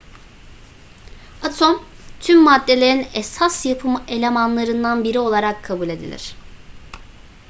atom tüm maddelerin esas yapı elemanlarından biri olarak kabul edilir